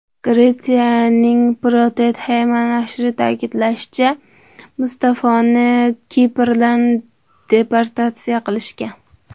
Gretsiyaning Protothema nashri ta’kidlashicha, Mustafoni Kiprdan deportatsiya qilishgan.